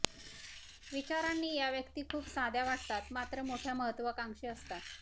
विचारांनी या व्यक्ती खूप साध्या वाटतात मात्र मोठ्या महत्त्वाकांक्षी असतात